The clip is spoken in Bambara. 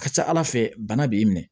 A ka ca ala fɛ bana b'i minɛ